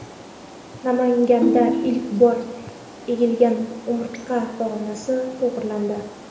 Namanganda ilk bor egilgan umurtqa pog‘onasi to‘g‘rilandi.